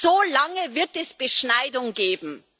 solange wird es Beschneidung geben.